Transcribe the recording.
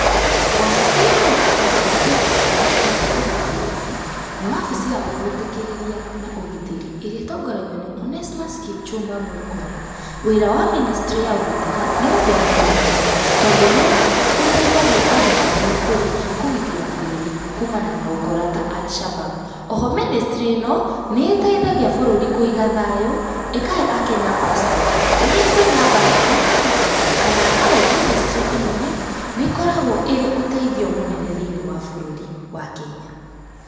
Wabici ya ũtungata wa kuiga bũrũri witũ ũgitĩri-inĩ, nĩ wabici ya wĩhũtĩkĩrĩria na ũgitĩri ĩrĩa ĩtongoragio nĩ Onesmus Kipchumba Murkomen. Wĩra wa ministry ya ũgitĩri nĩ ũngenagia mũno, tondũ nĩ ũteithagia handũ hanene kũrĩ kũgitĩra bũrũri kuumana na ũkora ta Alshabab. O ho ministry ĩno nĩ ĩteithagia kũiga thayũ, ĩkahe aKenya passport. Rĩrĩa kwĩna mbara na ng'aragu, kana haro, ministry ĩno nĩ ĩkoragwo ĩrĩ ũteithio mũnene thĩiniĩ wa bũrũri wa Kenya.